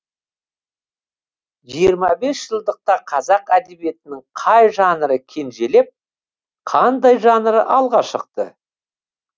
жиырма бес жылдықта қазақ әдебиетінің қай жанры кенжелеп қандай жанры алға шықты